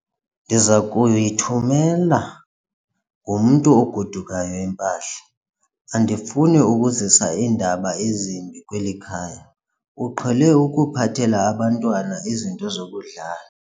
Ndiza kuyithumela ngomntu ogodukayo impahla. andifuni ukuzisa iindaba ezimbi kweli khaya, uqhele ukuphathela abantwana izinto zokudlala